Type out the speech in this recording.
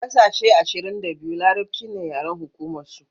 a ƙasashe ashirin da biyu larabci ne yaren hukumar su